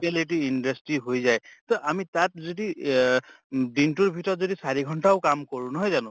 lity industry হয় যায় তে আমি তাত য্দি এহ উম দিনটোৰ ভিতৰত যদি চাৰি ঘন্টাও কাম কৰোঁ নহয় জানো?